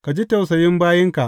Ka ji tausayin bayinka.